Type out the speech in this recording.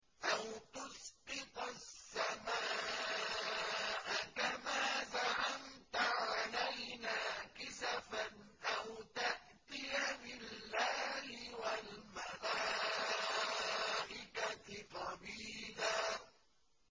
أَوْ تُسْقِطَ السَّمَاءَ كَمَا زَعَمْتَ عَلَيْنَا كِسَفًا أَوْ تَأْتِيَ بِاللَّهِ وَالْمَلَائِكَةِ قَبِيلًا